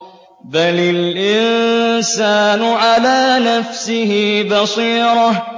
بَلِ الْإِنسَانُ عَلَىٰ نَفْسِهِ بَصِيرَةٌ